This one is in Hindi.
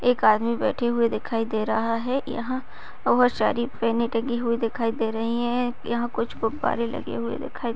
एक आदमी बैठे हुए दिखाई दे रहा है यहाँ बहुत सारी पेन टंगी हुई दिखाई दे रही है यहाँ कुछ गुब्बारे लगे हुए दिखाई--